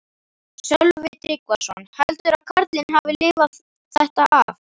Sölvi Tryggvason: Heldurðu að karlinn hafi þetta af?